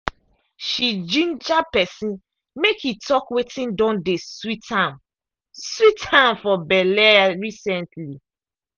she ginger person make e talk wetin don dey sweet am sweet am for belle recently.